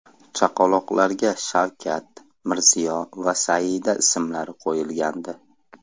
Chaqaloqlarga Shavkat, Mirziyo va Saida ismlari qo‘yilgandi .